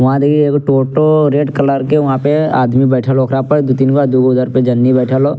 वहाँ देखीं एगो टोटो रेड कलर के वहाँ पे आदमी बैठल हो ओकरा पर दू तीन गो दूगो उधर पे जननी बैठल हो।